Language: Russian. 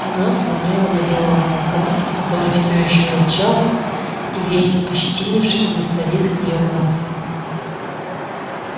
она смотрела на белого клыка который все ещё рычал и весь ощетинившись не сводил с нее глаз